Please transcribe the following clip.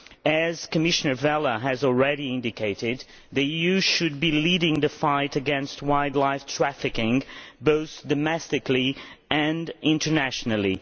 As Commissioner Vella has already indicated, the EU should be leading the fight against wildlife trafficking both domestically and internationally.